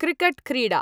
क्रिकट्क्रीडा